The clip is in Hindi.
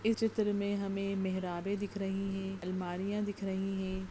इस चित्र में हमें मेहराबें दिख रही है अलमारियां दिख रही है।